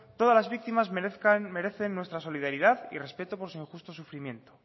todas las víctimas merecen nuestra solidaridad y respeto por su injusto sufrimiento